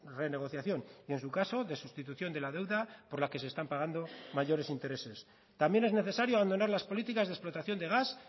renegociación y en su caso de sustitución de la deuda por la que se están pagando mayores intereses también es necesario abandonar las políticas de explotación de gas